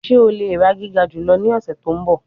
Ṣe o le ra giga julọ ni ọsẹ to nbọ?